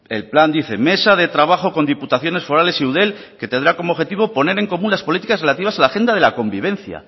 el plan dice mesa de trabajo con diputaciones forales y eudel que tendrá como objetivo poner en común las políticas relativas a la agenda de la convivencia